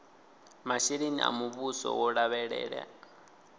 masheleni a muvhuso vho lavhelela